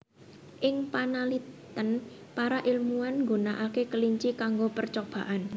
Ing panalitén para ilmuwan nggunakaké kelinci kango percobaan